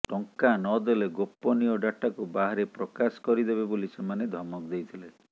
ଟଙ୍କା ନଦେଲେ ଗୋପନୀୟ ଡାଟାକୁ ବାହାରେ ପ୍ରକାଶ କରିଦେବେ ବୋଲି ସେମାନେ ଧମକ ଦେଇଥିଲେ